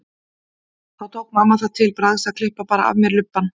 Þá tók mamma það til bragðs að klippa bara af mér lubbann.